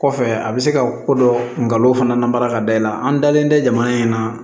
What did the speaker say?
Kɔfɛ a bɛ se ka ko dɔ fana namara ka da i la an dalen tɛ jamana in na